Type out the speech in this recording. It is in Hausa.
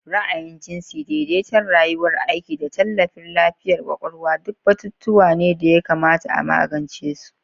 Ra'ayin jinsi, daidaiton rayuwar aiki, da tallafin lafiyar kwakwalwa duk batutuwa ne da ya kamata a magance su.